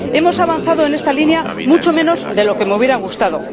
Hemos avanzado en esta línea mucho menos de lo que me hubiera gustado.